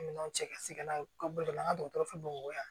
Minɛnw cɛ ka se n'a ye ka bo la an ka dɔgɔtɔrɔ fɛ bamakɔ yan